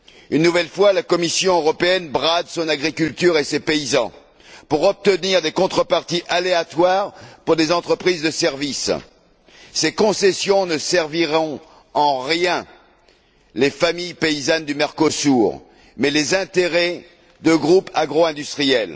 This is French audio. Une nouvelle fois, la Commission européenne brade son agriculture et ses paysans pour obtenir des contreparties aléatoires pour des entreprises de services. Ces concessions ne serviront en rien les intérêts des familles paysannes du Mercosur, mais bien ceux de groupes agro industriels.